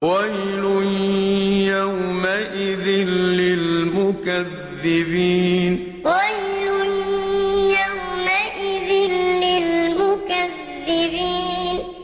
وَيْلٌ يَوْمَئِذٍ لِّلْمُكَذِّبِينَ وَيْلٌ يَوْمَئِذٍ لِّلْمُكَذِّبِينَ